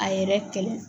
A yɛrɛ kɛlɛ